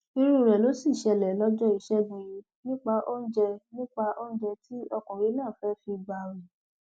irú rẹ ló sì ṣẹlẹ lọjọ ìṣẹgun yìí nípa oúnjẹ nípa oúnjẹ tí ọkùnrin náà fẹẹ fi gbààwẹ